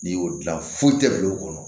N'i y'o dilan foyi tɛ bilen o kɔnɔ